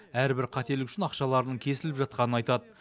әрбір қателік үшін ақшаларының кесіліп жатқанын айтады